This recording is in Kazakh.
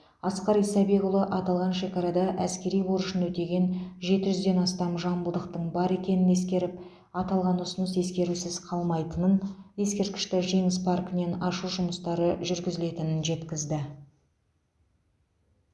асқар исабекұлы аталған шекарада әскери борышын өтеген жеті жүзден астам жамбылдықтың бар екенін ескеріп аталған ұсыныс ескерусіз қалмайтынын ескерткішті жеңіс паркінен ашу жұмыстары жүргізілетінін жеткізді